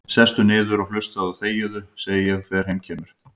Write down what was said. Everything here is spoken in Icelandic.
Sestu niður og hlustaðu og þegiðu, segi ég þegar heim kemur.